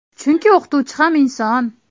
Chunki o‘qituvchi ham inson.